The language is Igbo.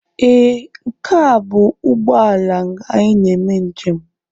Ee, nke a bụ ụgbọ ala anyị na-eme njem.